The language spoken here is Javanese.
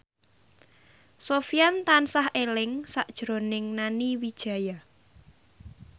Sofyan tansah eling sakjroning Nani Wijaya